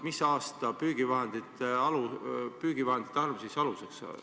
Mis aasta püügivahendite arv aluseks on?